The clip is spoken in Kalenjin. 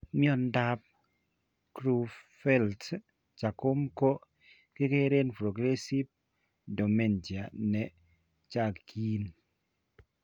Mnyandoap Creutzfeldt Jakob ko kikeren progressive dementia ne chaakyin.